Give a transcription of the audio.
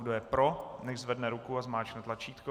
Kdo je pro, nechť zvedne ruku a zmáčkne tlačítko.